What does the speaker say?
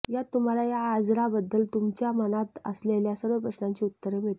यात तुम्हाला या आजराबद्दल तुमच्या मनात असलेल्या सर्व प्रश्नांची उत्तरे मिळतील